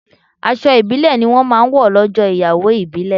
Aṣọ ibile ni wọn máa ń wọ lọ́jọ́ ìyàwó ìbílè